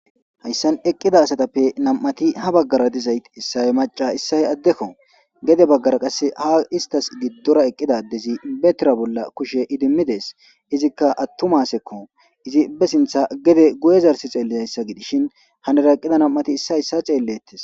Hayssan eqqida asatappe nam"ati ha baggara dizayt issaye maca issahe addekko. gede baggara qasse ha istas giddora eqqidadezi betira bolla kushe idimmidees izikka attumasekko, izi be sintha gede guye zarsi xeellizayssa gidishin hanara eqqida nam7ati issa issa xeellettes.